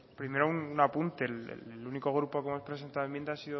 primero un apunte el único grupo que hemos presentado enmienda